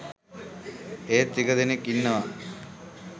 ඒත් ටික දෙනෙක් ඉන්නව